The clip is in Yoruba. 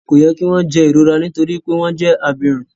Ko yẹ ki wọn jẹ ìrora nitori wípé wọn jẹ abirùn.